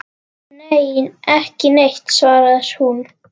Nei, ekki neitt svarar hún.